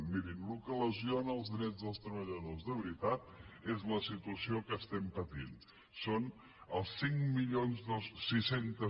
mirin el que lesiona els drets dels treballadors de veritat és la situació que patim són els cinc mil sis cents